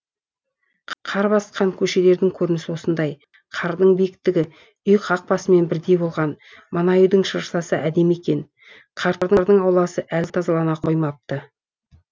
қар басқан көшелердің көрінісі осындай қардың биіктігі үй қақпасымен бірдей болған мына үйдің шыршасы әдемі екен қарттардың ауласы әлі тазалана қоймапты